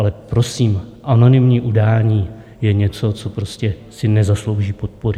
Ale prosím, anonymní udání je něco, co prostě si nezaslouží podpory.